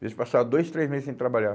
Eles passavam dois, três meses sem trabalhar.